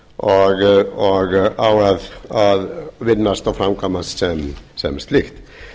vegakerfið í landinu og á að vinnast og framkvæmast sem slíkt þó